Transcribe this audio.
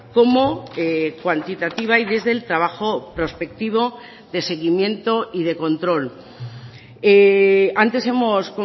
como cuantitativa y desde el trabajo prospectivo de seguimiento y de control antes hemos